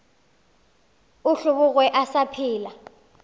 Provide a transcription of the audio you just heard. a hlobogwe a sa phela